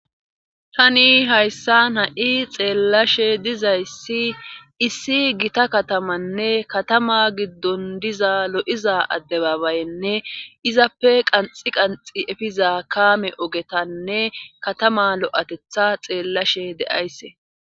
tani hayssan ha7i xeellashe dizayssi issi gita katamanne katama giddon diza lo7iza adde babayenne izappe qanxi qanxi efiza kaame ogetanne katama lo7atetha xeellashe de7aysse